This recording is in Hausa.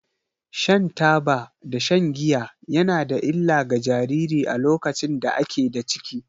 Shan taba da shan giya ya na da illa ga jariri a lokacin da a ke da ciki.